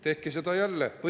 Tehke seda jälle!